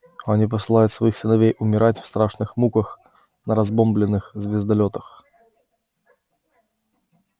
они посылают своих сыновей умирать в страшных муках на разбомблённых звездолётах